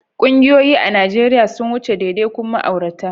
Ƙungiyoyi a Najeriya sun wuce daidaikun ma'aurata.